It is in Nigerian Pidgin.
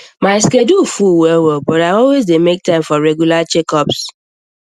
my schedule full well well but i always dey make time for regular checkups